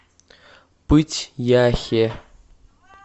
пыть яхе